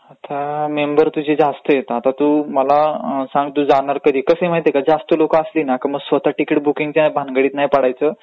Member तुझे जास्त आहेत, आता तू मला सांग तू जाणार कधी आहे ? कसं आहे माहितेय का जास्त लोकं असली ना मग स्वतः तिकीट बुकींगच्या भनगडीत नाही पडायचं .